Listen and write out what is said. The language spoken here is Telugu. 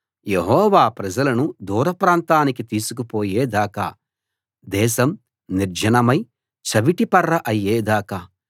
యెహోవా ప్రజలను దూరప్రాంతానికి తీసుకు పోయే దాకా దేశం నిర్జనమై చవిటిపర్ర అయ్యే దాకా